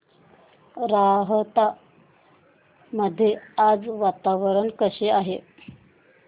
राहता मध्ये आज वातावरण कसे आहे